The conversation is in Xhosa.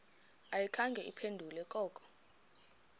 ayikhange iphendule koko